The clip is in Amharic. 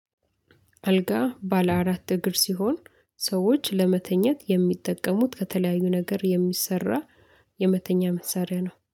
አልጋ ባለ አራት እግር ሲሆን ሰዎች ለመተኘት የሚጠቀሙት ከተለያዩ ነገር የሚሰራ የመተኛ መሳሪያ ነው